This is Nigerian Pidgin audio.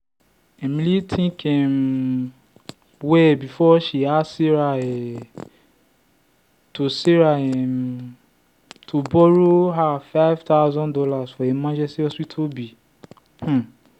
emily think um well before she ask sarah um to sarah um to borrow her five thousand dollars for emergency hospital bill. um